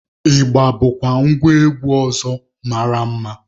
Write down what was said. Ịgba bụkwa ngwa egwu ọzọ mara mma.